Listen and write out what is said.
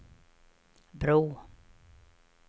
bro